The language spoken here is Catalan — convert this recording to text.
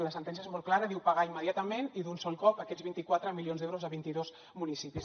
la sentència és molt clara i diu pagar immediatament i d’un sol cop aquests vint quatre milions d’euros a vint i dos municipis